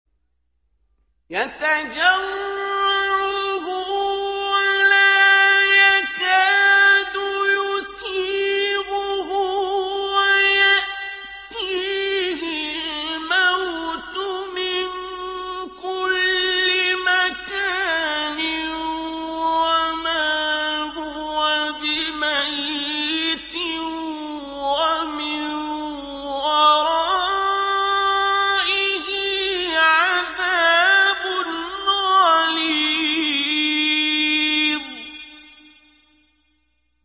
يَتَجَرَّعُهُ وَلَا يَكَادُ يُسِيغُهُ وَيَأْتِيهِ الْمَوْتُ مِن كُلِّ مَكَانٍ وَمَا هُوَ بِمَيِّتٍ ۖ وَمِن وَرَائِهِ عَذَابٌ غَلِيظٌ